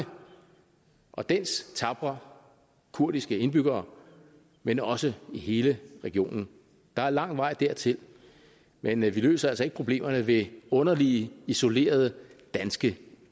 og for dens tapre kurdiske indbyggere men også i hele regionen der er lang vej dertil men vi løser altså ikke problemerne ved underlige isolerede danske